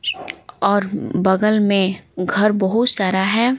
और बगल में घर बहुत सारा है।